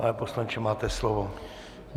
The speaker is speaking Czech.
Pane poslanče, máte slovo.